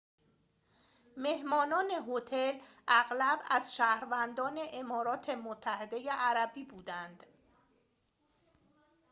مهمانان هتل اغلب از شهروندان امارات متحده عربی بودند